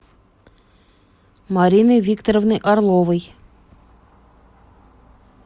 марины викторовны орловой